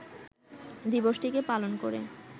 দিবসটিকে পালন করে